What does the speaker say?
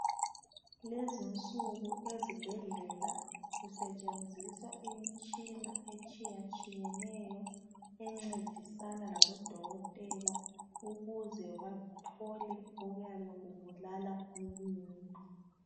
Kulezi insuku ezibhendlela kusetshenziswa imitshina etshiyatshiyeneyo encedisana labodokotela ukuze bathole okuyabe kubulala umuntu.